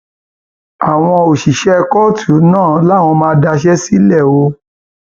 àwọn òṣìṣẹ kóòtù náà làwọn máa máa daṣẹ sílẹ o